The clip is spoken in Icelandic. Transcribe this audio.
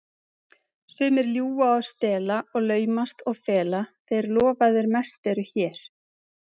Sumir ljúga og stela og laumast og fela, þeir lofaðir mest eru hér.